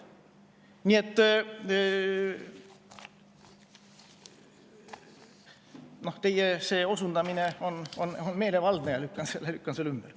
Nii et teie osundus on meelevaldne ja ma lükkan selle ümber.